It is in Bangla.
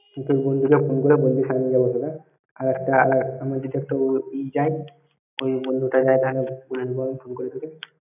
তুই তোর ওই বন্ধুটাকে phone করে বলে দিস আমি যাব। ।